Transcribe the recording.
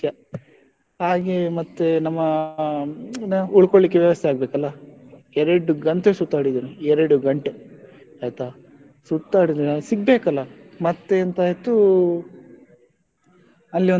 ಹಾಗೆ ಮತ್ತೆ ನಮ್ಮ ಉಳ್ಕೊಳ್ಲಿಕ್ಕೆ ವ್ಯವಸ್ಥೆ ಆಗ್ಬೇಕಲ್ಲ ಎರಡು ಗಂಟೆ ಸುತ್ತಾಡಿದ್ದೇನೆ ಎರಡು ಗಂಟೆ ಆಯ್ತಾ. ಸುತ್ತಾಡಿದ್ಮೇಲೇ ಸಿಗ್ಬೇಕಲ್ಲ ಮತ್ತೆ ಎಂತ ಆಯ್ತು ಅಲ್ಲಿ ಒಂದು,